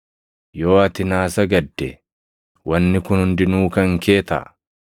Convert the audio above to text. Yoo ati naa sagadde, wanni kun hundinuu kan kee taʼa.”